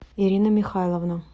ирина михайловна